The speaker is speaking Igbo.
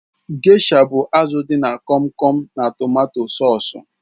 Gesha bụ azụ dị na Kom Kom na tomato sọsú